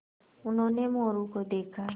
उन्होंने मोरू को देखा